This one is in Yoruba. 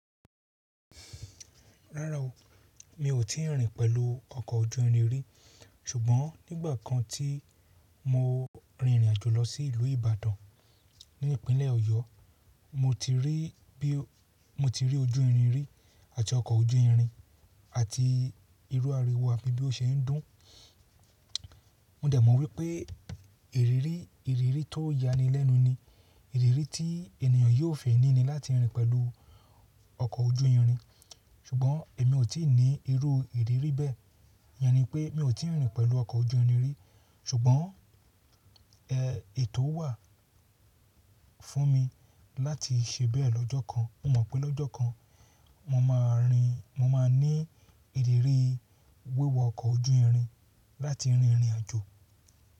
Rárá o, mi ò tí ì rìn pẹ̀lú ọkọ̀ ojú irin rí. Ṣùgbọ́n nígbà kan tí mo rin ìrìnàjò lọ sí ìlú Ìbàdàn ní ìpínlẹ̀ Ọ̀yọ́, mo ti rí bí, mo ti rí ojú irin rí àti ọkọ̀ ojú irin àti irú ariwo àbí bí ó ṣe ń dún. Mo dẹ̀ mọ̀ wípé ìrírí, ìrírí tó yání lẹ́nu ni ìrírí tí ènìyàn yóò fi ní ní láti rìn pẹ̀lú ọkọ̀ ojú irin. Ṣùgbọ́n èmi ò tí ì ní irú ìrírí bẹ́ẹ̀. Iyen ní pé mi ò tí ì rìn pẹ̀lú ọkọ̀ ojú irin rí. Ṣùgbọ́n, ẹ, ètò wà fún mi láti ṣe bẹ́ẹ̀ lọ́jọ́ kan. Mo mọ̀ pé lọ́jọ́ kan mo máa rìn, mo máa ní ìrírí wíwa ọkọ̀ ojú irin láti rin ìrìnàjò.